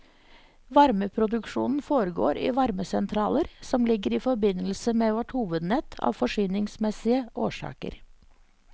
Varmeproduksjonen foregår i varmesentraler som ligger i forbindelse med vårt hovednett av forsyningsmessige årsaker.